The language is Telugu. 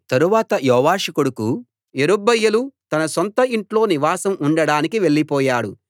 తరువాత యోవాషు కొడుకు యెరుబ్బయలు తన సొంత ఇంట్లో నివాసం ఉండడానికి వెళ్ళిపోయాడు